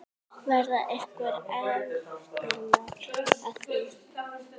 Verða einhver eftirmál að því?